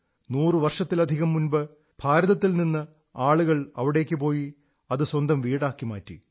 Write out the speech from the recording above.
നൂറു വർഷത്തിലധികം മുമ്പ് ഭാരതത്തിൽ നിന്ന് ആളുകൾ അവിടേക്കു പോയി അത് സ്വന്തം വീടാക്കി മാറ്റി